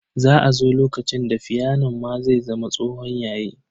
Za a zo lokacin da fiyanon ma zai zama tsohon yayi.